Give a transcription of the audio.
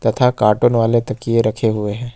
तथा कार्टून वाले तकिये रखे हुए हैं।